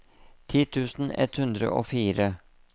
ti tusen ett hundre og fire